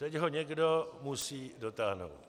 Teď to někdo musí dotáhnout.